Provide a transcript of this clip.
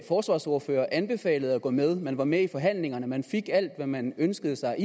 forsvarsordfører anbefalede at gå med man var med i forhandlingerne man fik alt hvad man ønskede sig